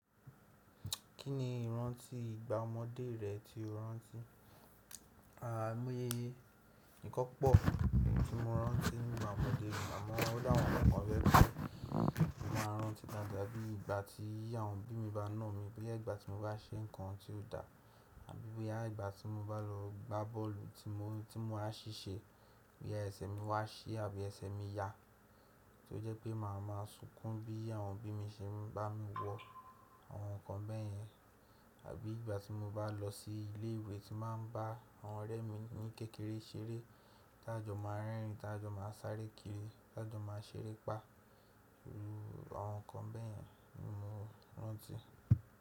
Kí ni ìrántí ìgbà ọmọdé rẹ tí o rántí? Àimoye yé ẹ. Ǹkan pọ̀ tí mo rántí nípa ọmọdé mi àmọ́ óláwọn ǹkan kan tó jẹ́ pé mo máa ń rántí dáadáa bí ìgbà tí àwọn bí mi bá nà mí bóyá ìgbà tí mo bá ṣe nǹkan tí ó dá àbí bóyá ìgbà tí mo bá lọ gbá bọ́ọ̀lù tí mo á ṣì ṣe bí ẹsẹ̀ mi wá ṣí àbí ẹsẹ̀ mi ya tí ó jẹ́ pé màá ma sunkún bí àwọn bí mi ṣe máa ń bá mi wọ àwọn nǹkan bẹ́ẹ̀ yẹn àbí ìgbà tí mo bá lọ sí ilé ìwé tí màá ń bá àwọn ọ̀rẹ́ mi ní kékeré ṣeré tájọ̀ máa ń rẹ́rìn tájọ̀ máa ń sáré kiri tájọ̀ máa ń ṣerépá. Irú àwọn nǹkan bẹ́ẹ̀ yẹn ni mo rántí.